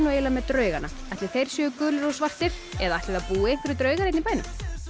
með draugana ætli þeir séu gulir og svartir eða ætli það búi einhverjir draugar hérna í bænum